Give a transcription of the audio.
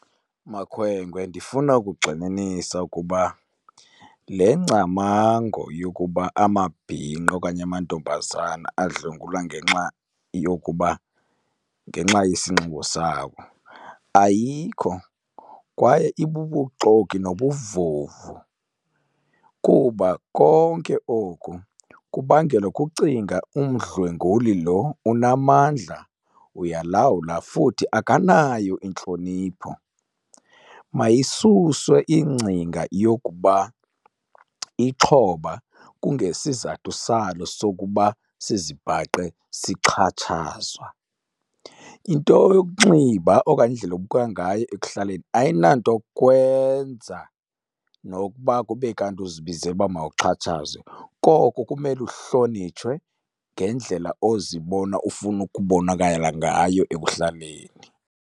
Makhwenkwe, ndifuna ukugxininisa ukuba le ngcamango yokuba amabhinqa okanye amantombazana adlwengulwa ngenxa yokuba ngenxa yesinxibo sabo ayikho kwaye ibubuxoki nobuvuvu. Kuba konke oku kubangelwa kucinga umdlwenguli lo unamandla, uyalawula, futhi akanayo intlonipho. Mayisuswe ingcinga yokuba ixhoba kungesizathu salo sokuba sizibhaqe sixhatshazwa. Into yokunxiba okanye indlela obukeka ngayo ekuhlaleni ayinanto kwenza nokuba kube kanti uzibizele uba mawuxhatshazwe, koko kumele uhlonitshwe ngendlela ozibona ufuna ukubonakala ngayo ekuhlaleni.